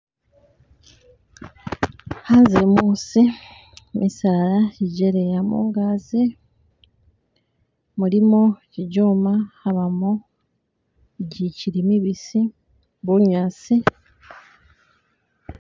Hanze musi misaala gi gyaleya mungazi mulimo gigyoma habamo gichili mibisi bunyasi.